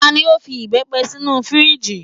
Tani o fi ìbepé sinu firiji?